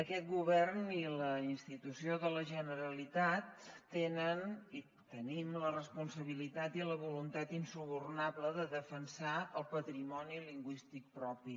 aquest govern i la institució de la generalitat tenen i tenim la responsabilitat i la voluntat insubornable de defensar el patrimoni lingüístic propi